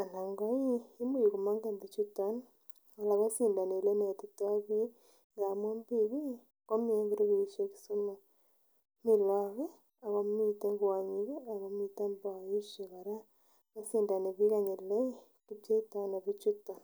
ako ih imuch komongen bichuton ako sindoni elenetitoo biik amun biik ih komii en grupisiek somok, mi look ih ako miten kwonyik ih akomiten boisiek kora, kosindoni biik kele kipcheitoo ano biik choton